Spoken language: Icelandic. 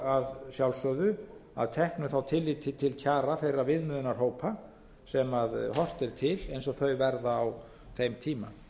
að sjálfsögðu að teknu tilliti til kjara þeirra viðmiðunarhópa sem horft er til eins og þau verða á þeim tíma